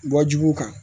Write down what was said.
Bɔ juguw kan